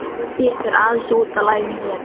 Ég fer aðeins út af laginu hér.